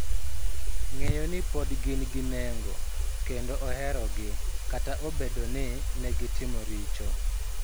Ng�eyo ni pod gin gi nengo kendo oherogi kata obedo ni ne gitimo richo.